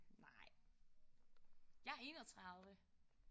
Nej. Jeg er 31